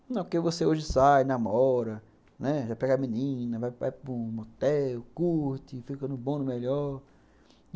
Porque você hoje sai, namora, né, vai pegar menina, vai para um motel, curte, fica no bom, no melhor.